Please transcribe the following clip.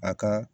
A ka